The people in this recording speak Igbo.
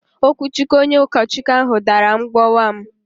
Okwuchukwu onye ukochukwu ahụ dàrà mgbowa m